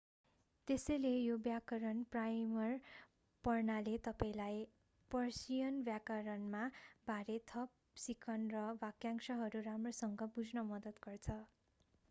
त्यसैले यो व्याकरण प्राइमर पढ्नाले तपाईंलाई पर्सियन व्याकरणका बारे थप सिक्न र वाक्यांशहरू राम्रोसँग बुझ्न मद्दत गर्छ